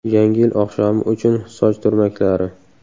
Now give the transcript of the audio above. Yangi yil oqshomi uchun soch turmaklari.